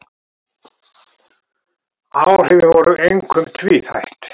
Áhrifin voru einkum tvíþætt